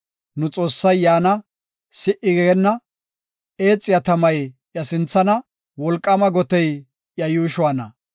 Nu Xoossay yaana; si77i geenna; eexiya tamay iya sinthana; wolqaama gotey iya yuushuwana.